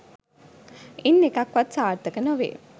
ඉන් එකක් වත් සාර්ථක නොවේ